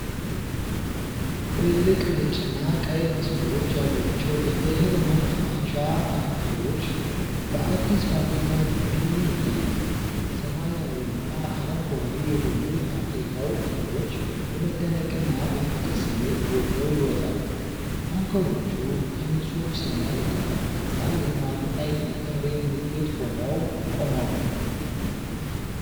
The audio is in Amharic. ትልልቅ ነጭና ቀይ መስመሮች ያሏቸው የእህል ማከማቻ ታንከሮች በአዲስ ፋብሪካ ግቢ ይታያሉ። ሰማያዊና አረንጓዴ የሆኑ የፋብሪካው ክፍሎች በመደነቅና በፍቅር ስሜት ጎልተው ይወጣሉ። ታንከሮቹ ከንጹህ ሰማይ ዳራ አንጻር የልማትና የጥንካሬ ምልክት ሆነው ቆመዋል።